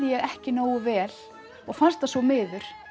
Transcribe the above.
ég ekki nógu vel og fannst það svo miður